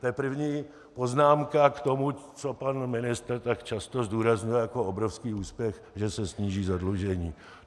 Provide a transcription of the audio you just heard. To je první poznámka k tomu, co pan ministr tak často zdůrazňuje jako obrovský úspěch, že se sníží zadlužení.